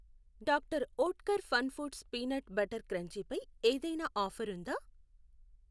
Doctor Oetker Fun Foods peanut butter crunchy పై ఏదైనా offer ఉందా?